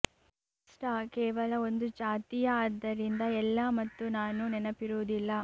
pasta ಕೇವಲ ಒಂದು ಜಾತಿಯ ಆದ್ದರಿಂದ ಎಲ್ಲಾ ಮತ್ತು ನಾನು ನೆನಪಿರುವುದಿಲ್ಲ